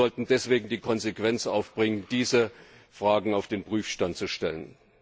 Wir sollten deswegen die Konsequenz aufbringen, diese Fragen auf den Prüfstand zu stellen.